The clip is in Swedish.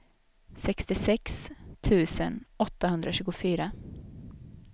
sextiosex tusen åttahundratjugofyra